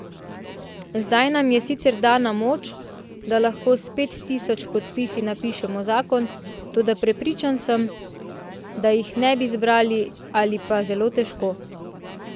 Zdaj nam je sicer dana moč, da lahko s pet tisoč podpisi napišemo zakon, toda prepričan sem, da jih ne bi zbrali ali pa zelo težko.